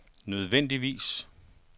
nødvendigvis